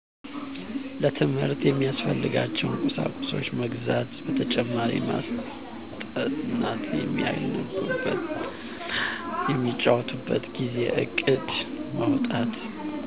ለትምህርት የሚያስፈልጋቸዉን ቁሳቁስ መግዛት በተጨማሪ ማስጠናት የሚያነቡበት እና የሚጫወቱበትን ጊዜ እቅድ ማዉጣት